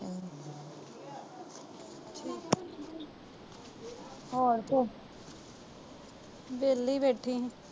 ਹੋਰ ਤੂੰ ਵਿਹਲੀ ਬੈਠੀ ਸੀ।